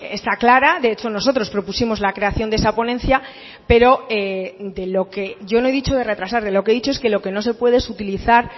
está clara de hecho nosotros propusimos la creación de esa ponencia pero de lo que yo no he dicho de retrasar de lo que he dicho es que lo que no se puede es utilizar